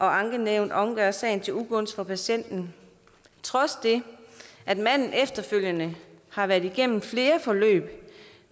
ankenævnet omgør sagen til ugunst for patienten trods det at manden efterfølgende har været igennem flere forløb